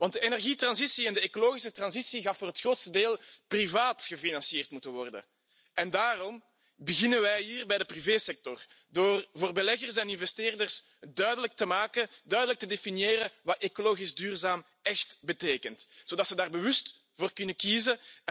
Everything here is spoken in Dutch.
De energietransitie en de ecologische transitie zullen voor het grootste deel privaat gefinancierd moeten worden en daarom beginnen wij hier, bij de privésector, door aan beleggers en investeerders duidelijk te maken, door duidelijk te definiëren wat ecologisch duurzaam echt betekent, zodat ze daar bewust voor kunnen kiezen.